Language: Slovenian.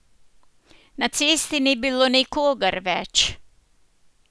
Na cesti ni bilo nikogar več.